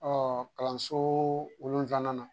Ɔ kalanso wolonwula